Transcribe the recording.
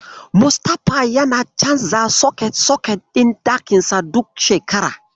Mustapha yana canza soket-soket ɗin ɗakinsa duk shekara.